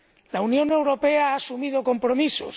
La Unión Europea ha asumido compromisos.